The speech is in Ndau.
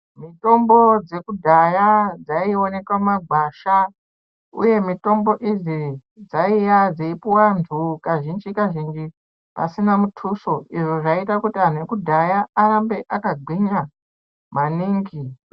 Mutombo dzekudhaya dzaionekwa mumagwasha uye mutombo idzi dzaiya dzeipuwe antu kazhinji kazhinji pasina mutuso izvo zvaita kuti antu ekudhaya arambe akagwinya maningi .